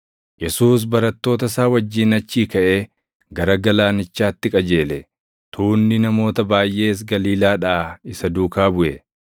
Yesuus barattoota isaa wajjin achii kaʼee gara galaanichaatti qajeele; tuunni namoota baayʼees Galiilaadhaa isa duukaa buʼe.